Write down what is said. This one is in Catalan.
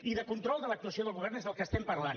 i de control de l’actuació del govern és del que estem parlant